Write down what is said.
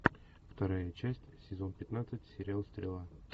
вторая часть сезон пятнадцать сериал стрела